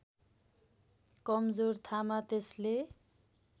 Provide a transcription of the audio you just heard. कमजोर थामा त्यसले